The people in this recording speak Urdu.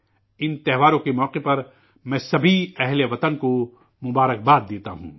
ان تہواروں کے موقع پر میں سبھی ہم وطنوں کو نیک خواہشات پیش کرتا ہوں